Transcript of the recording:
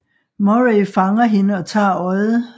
Murray fanger hende og tager øjet